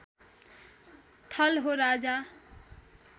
थल हो राजा